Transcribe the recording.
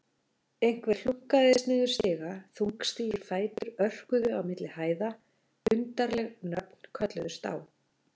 Einhver hlunkaðist niður stiga, þungstígir fætur örkuðu á milli hæða, undarleg nöfn kölluðust á.